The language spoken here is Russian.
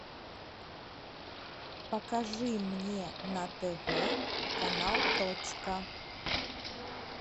покажи мне на тв канал точка